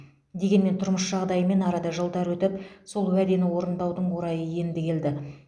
дегенмен тұрмыс жағдайымен арада жылдар өтіп сол уәдені орындаудың орайы енді келді